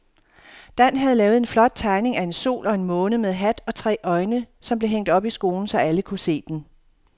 Dan havde lavet en flot tegning af en sol og en måne med hat og tre øjne, som blev hængt op i skolen, så alle kunne se den.